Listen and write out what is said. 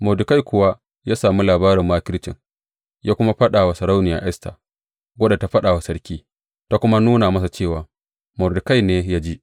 Mordekai kuwa ya sami labarin makircin, ya kuma faɗa wa Sarauniya Esta, wadda ta faɗa wa sarki, ta kuma nuna masa cewa Mordekai ne ya ji.